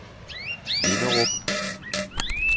Vinderup